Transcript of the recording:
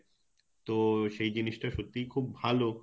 তো সেই জিনিস টা সত্যিই খুব ভালো